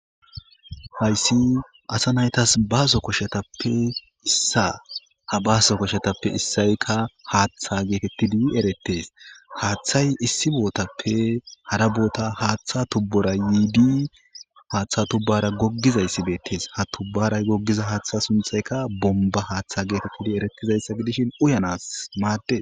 Hayssi asa naytas baaso koshetappe issa ha baaso koshetappe issayykka haaththa geetettidi erettes haaththay issi bootappe hara boota haaththa tubbora yiidi haaththa tubbara goggizayssi beettes ha tubbaray goggiza haaththa sunthayka bomba haaththa geetettidi eretizayssa gidishin uyanas maadde